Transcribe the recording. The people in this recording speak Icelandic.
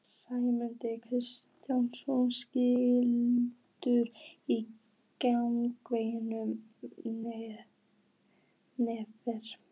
Sæmundur Karlsson stynur í gegnum nefið.